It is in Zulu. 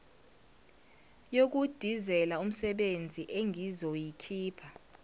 yokudizela umsebezi engizoyikhipha